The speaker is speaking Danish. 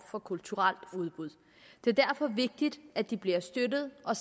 for kulturelt udbud det er derfor vigtigt at de bliver støttet og